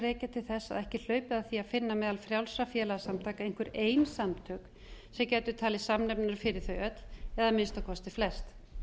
rekja til þess að ekki er hlaupið að því að finna meðal frjálsra félagasamtaka einhver ein samtök sem gætu talist samnefnarar fyrir þau öll eða að minnsta kosti flest